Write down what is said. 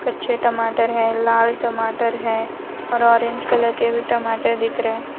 अच्छे टमाटर हैं लाल टमाटर हैं और ऑरेंज कलर के भी टमाटर दिख रहे हैं।